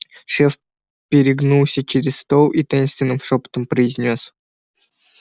шеф перегнулся через стол и таинственным шёпотом произнёс